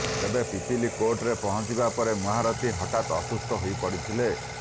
ତେବେ ପିପିଲି େକାର୍ଟରେ ପହଞ୍ଚିବା ପରେ ମହାରଥୀ ହଠାତ୍ ଅସୁସ୍ଥ ହୋଇପଡ଼ିଥିଲେ